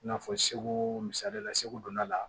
I n'a fɔ segu misaliya la segu donna la